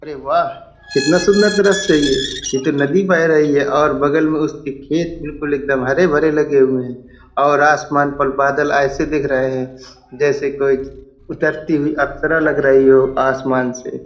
अरे वाह! कितना सुन्दर दृश्य है ये। ये तो नदी बह रही है और बगल में उसके खेत बिल्कुल एकदम हरे भरे लगे हुए है और आसमान पर बादल ऐसे दिख रहे हैं जैसे कुछ उतरती हुई अप्सरा लग रही हो आसमान से।